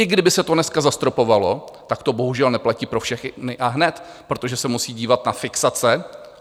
I kdyby se to dneska zastropovalo, tak to bohužel neplatí pro všechny a hned, protože se musí dívat na fixace.